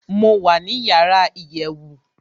mo wà ní yàrá iyèwù